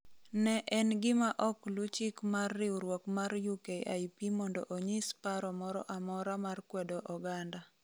ne en gima ok luw chik mar riwruok mar UKIP mondo onyis paro moro amora mar kwedo oganda